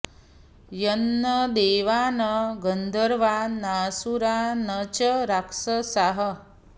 यन्न देवा न गन्धर्वा नासुरा न च राक्षसाः